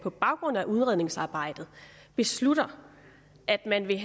på baggrund af udredningsarbejdet beslutter at man vil